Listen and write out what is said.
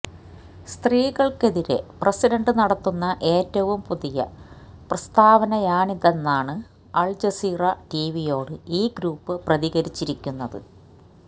സ്ത്രീകൾക്കെതിരെ president നടത്തുന്ന ഏറ്റവും പുതിയ പ്രസ്താവനയാണിതെന്നാണ് അൽജസീറ ടിവിയോട് ഈ ഗ്രൂപ്പ് പ്രതികരിച്ചിരിക്കുന്നത്